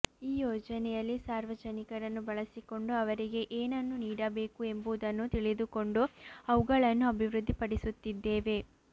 ಈ ಯೋಜನೆಯಲ್ಲಿ ಸಾರ್ವಜನಿಕರನ್ನು ಬಳಸಿಕೊಂಡು ಅವರಿಗೆ ಏನನ್ನು ನೀಡಬೇಕು ಎಂಬುದನ್ನು ತಿಳಿದುಕೊಂಡು ಅವುಗಳನ್ನು ಅಭಿವೃದ್ಧಿ ಪಡಿಸುತ್ತಿದ್ದೇವೆ